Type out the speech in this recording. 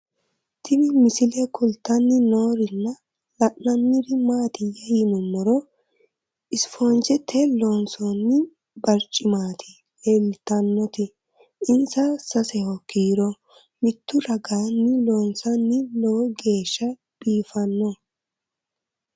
Tinni misile kulittanni noorrinna la'nanniri maattiya yinummoro isifoonjjettey loonsoonni bariccimmatti leelittannotti insa saseho kiiro mittu raganni loonsoonni lowo geeshsha biiffanno